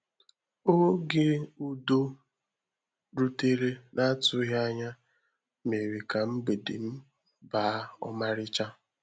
Ógé ùdò rútèrè n’atụghị anya méèrè ka mgbèdè m baa ọ́márícha.